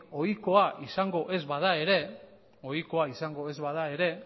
ohikoa izango ez bada ere ohikoa izango ez bada ere